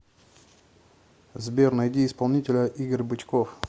сбер найди исполнителя игорь бычков